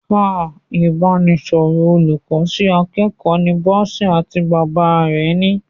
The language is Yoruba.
Ah! Ìbánisọ̀rọ̀ olùkọ́ sí akẹ́kọ̀ọ́ ni Bọ́sẹ̀ àti bàbá rẹ̀ ni.